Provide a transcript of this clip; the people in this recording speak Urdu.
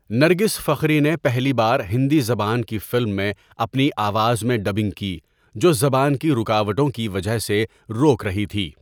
نرگس فخری نے پہلی بار ہندی زبان کی فلم میں اپنی آواز میں ڈبنگ کی جو زبان کی رکاوٹوں کی وجہ سے روک رہی تھی۔